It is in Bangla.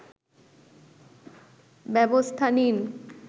ব্যবস্থা নিন